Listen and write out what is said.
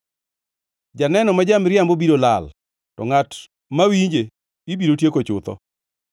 Janeno ma ja-miriambo biro lal; to ngʼat mawinje ibiro tieko chutho.